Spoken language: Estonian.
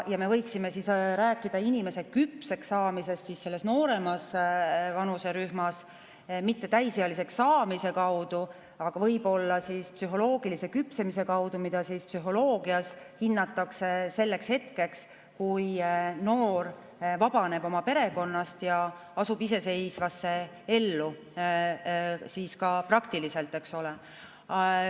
Me võiksime rääkida inimese küpseks saamisest selles nooremas vanuserühmas, mitte täisealiseks saamise kaudu, aga võib-olla psühholoogilise küpsemise kaudu, mida psühholoogias hinnatakse selleks hetkeks, kui noor vabaneb oma perekonnast ja astub iseseisvasse ellu ka praktiliselt, eks ole.